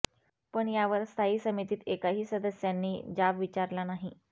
पण यावर स्थायी समितीत एकाही सदस्यांनी जाब विचारला नाही